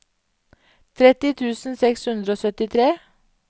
tretti tusen seks hundre og syttitre